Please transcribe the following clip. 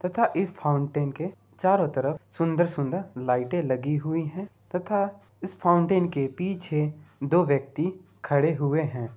तथा इस फाउन्टेन के चारों तरफ सुन्दर सुन्दर लाइटें लगी हुई हैं। तथा इस फाउन्टेन के पीछे दो व्यक्ति खड़े हुए हैं।